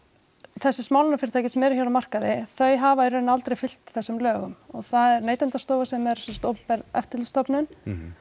þessi smálánafyrirtæki sem eru hér á markaði þau hafa í raun aldrei fylgt þessum lögum og það er Neytendastofa sem er sem sagt opinber eftirlitsstofnun